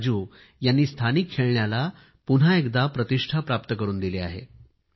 राजू यांनी स्थानिक खेळण्याला पुन्हा एकदा प्रतिष्ठा प्राप्त करून दिली आहे